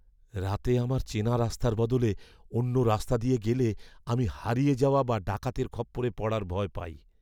রাতে আমার চেনা রাস্তার বদলে অন্য রাস্তা দিয়ে গেলে আমি হারিয়ে যাওয়া বা ডাকাতের খপ্পরে পড়ার ভয় পাই।